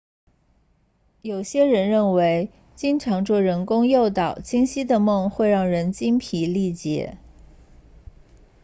有些人认为经常做人工诱导清晰的梦会让人精疲力竭